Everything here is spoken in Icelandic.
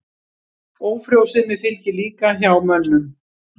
Ófrjósemi fylgir líka hjá mönnum.